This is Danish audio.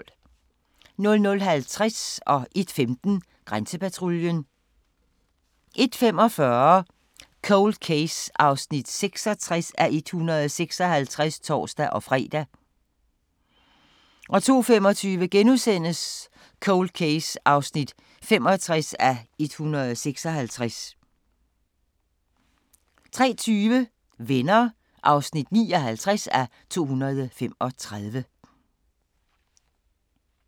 00:50: Grænsepatruljen 01:15: Grænsepatruljen 01:45: Cold Case (66:156)(tor-fre) 02:35: Cold Case (65:156)* 03:20: Venner (59:235)